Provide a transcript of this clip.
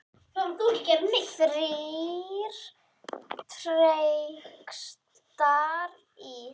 Þrír textar í